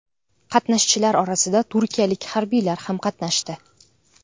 Qatnashchilar orasida turkiyalik harbiylar ham qatnashdi.